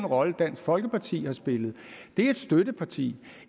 rolle dansk folkeparti har spillet det er et støtteparti